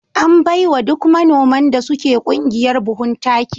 An bai wa duk manoman da suke ƙungiyar buhun. taki